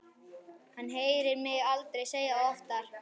Hann heyrir mig aldrei segja það oftar.